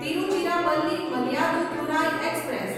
Tiruchirappalli Mayiladuthurai express